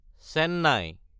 Chennai